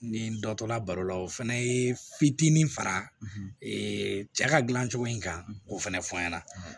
Ni n dɔ tola baro la o fana ye fitinin fara cɛ ka dilancogo in kan k'o fana fɔ n ɲɛna